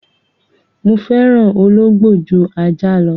Mo fẹ́ràn ológbò ju ajá lọ.